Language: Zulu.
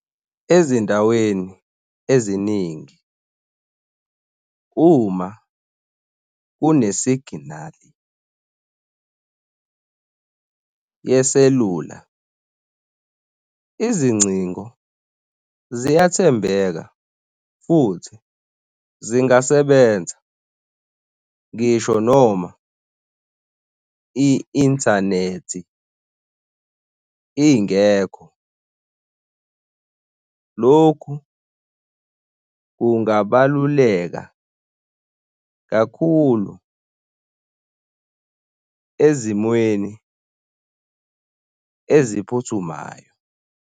Ezindaweni eziningi, uma kune signal yeselula, izingcingo ziyathembeka futhi zingasebenza ngisho noma i-inthanethi ingekho. Lokhu kungabaluleka kakhulu ezimweni eziphuthumayo.